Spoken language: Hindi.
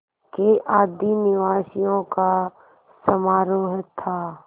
के आदिनिवासियों का समारोह था